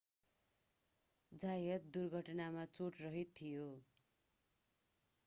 जायत दुर्घटनामा चोटरहित थियो